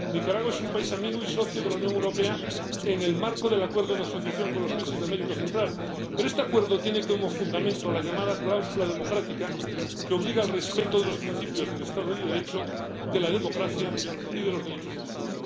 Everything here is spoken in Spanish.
Nicaragua es un país amigo y socio de la Unión Europea en el marco del Acuerdo de Asociación con los países de América Central. Pero este Acuerdo tiene como fundamento la llamada cláusula democrática, que obliga al respeto de los principios del Estado de Derecho, de la democracia y de los derechos humanos.